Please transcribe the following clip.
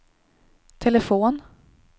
telefon